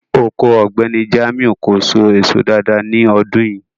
Oko Ọgbẹ̀nì Jamiu kò sò èsò dáàdáa ni ọdún yìí.